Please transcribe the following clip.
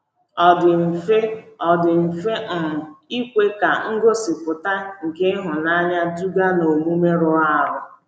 Ọ dị mfe Ọ dị mfe um ikwe ka ngosịpụta nke ịhụnanya duga n’omume rụrụ arụ.